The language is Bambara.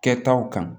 Kɛtaw kan